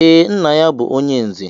Ee, nna ya bu onye nze